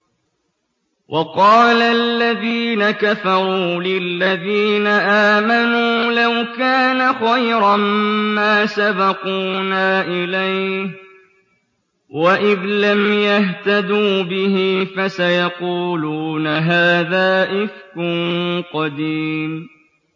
وَقَالَ الَّذِينَ كَفَرُوا لِلَّذِينَ آمَنُوا لَوْ كَانَ خَيْرًا مَّا سَبَقُونَا إِلَيْهِ ۚ وَإِذْ لَمْ يَهْتَدُوا بِهِ فَسَيَقُولُونَ هَٰذَا إِفْكٌ قَدِيمٌ